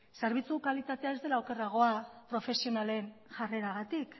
zerbitzu kalitatea ez dela okerragoa profesionalen jarreragatik